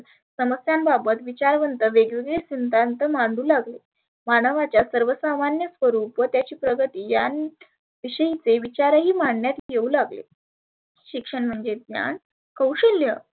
समस्यांबाबत विचारवंत वेगवेगळे सिद्धांत मांडु लागले. मानवाच्या सर्वसामान्य स्वरुप व त्याची प्रगती यांन विषयी ते विचारही मांडण्यात येऊ लागले. शिक्षण म्हणजे ज्ञान कौशल्य.